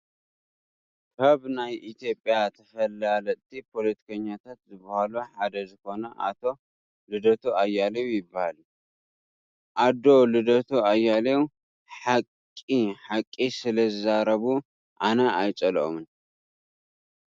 ካብ ናይ ኢትዮጰያ ተፈላለጥቲ ፖሎቲከኛታት ዝበሃሉ ሓደ ዝኮነ ኣቶ ሉደቱ ኣያሌው ይበሃሉ ። ኣዶ ልደቱ ኣያሌው ሓቂ ሓቂ ስለዝዛረቡ ኣነ ኣየፀልኦምን።